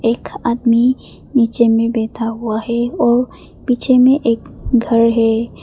एक आदमी नीचे में बैठा हुआ है और पीछे में एक घर है।